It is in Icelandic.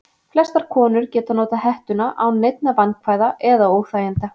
Flestar konur geta notað hettuna án neinna vandkvæða eða óþæginda.